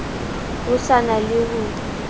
ho sa na le ho